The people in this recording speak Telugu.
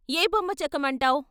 ఏ బొమ్మ చెక్కమంటావ్?